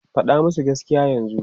Faɗa musu gaskiya yanzu!